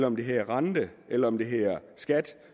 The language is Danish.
om det hedder rente eller om det hedder skat